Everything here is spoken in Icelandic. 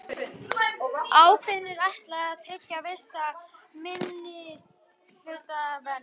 Ákvæðinu er ætlað að tryggja vissa minnihlutavernd.